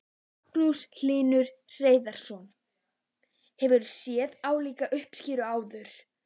Magnús Hlynur Hreiðarsson: Hefurðu séð álíka uppskeru áður?